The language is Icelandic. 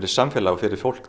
samfélag fyrir fólk